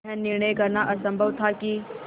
यह निर्णय करना असम्भव था कि